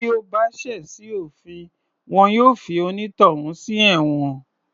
Bí o bá ṣẹ̀ sí òfin wọn yóò fi onítọ̀hún sí ẹ̀wọ̀n